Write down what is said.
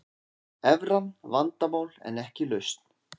Evran vandamál en ekki lausn